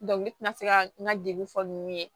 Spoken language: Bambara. ne tɛna se ka n ka degun fɔ ninnu ye